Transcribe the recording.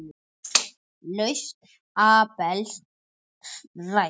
Lausn Abels rædd